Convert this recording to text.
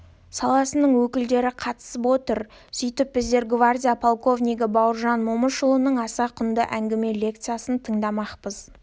саласының өкілдері қатысып отыр сөйтіп біздер гвардия полковнигі бауыржан момышұлының аса құнды әңгіме лекциясын тыңдамақпыз